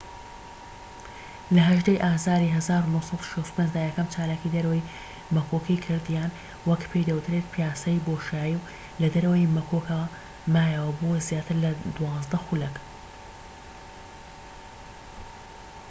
لە ١٨ ی ئازاری ١٩٦٥ دا یەکەم چالاکیی دەرەوەی مەکۆکی کرد یان وەک پێی دەوترێت پیاسەی بۆشایی و لە دەرەوەی مەکۆکەکە مایەوە بۆ زیاتر لە دوازدە خولەك